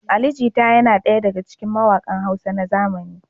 Ali Jita yana daya daga cikin mawaƙan Hausa na zamani.